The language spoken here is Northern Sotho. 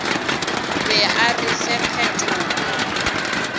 be a re fe phetolo